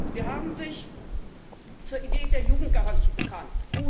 Sie haben sich zur Idee der Jugendgarantie bekannt.